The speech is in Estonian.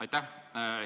Aitäh!